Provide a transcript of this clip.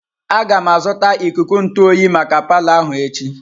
Aga m azụta ikuku ntụ oyi maka palo ahụ echi.